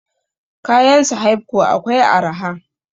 Kayan sahaibco akwai araha